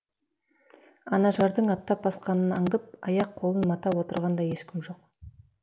ана жардың аттап басқанын аңдып аяқ қолын матап отырған да ешкім жоқ